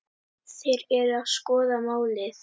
Þeir eru að skoða málið.